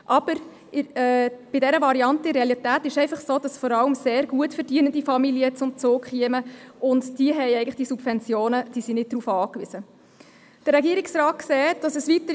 Aber bei dieser Variante kämen in der Realität vor allem sehr gut verdienende Familien zum Zug, und diese sind eigentlich auf diese Subventionen nicht angewiesen.